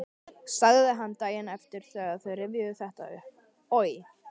sagði hann daginn eftir þegar þeir rifjuðu þetta upp: Oj!